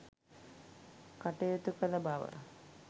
කටයුතු කළ බව